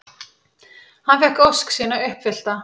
Hann fékk ósk sína uppfyllta.